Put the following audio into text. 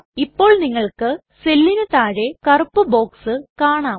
ഇപ്പോൾ നിങ്ങൾക്ക് സെല്ലിന് താഴെ കറുപ്പ് ബോക്സ് കാണാം